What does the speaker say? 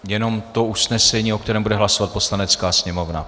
Jenom to usnesení, o kterém bude hlasovat Poslanecká sněmovna.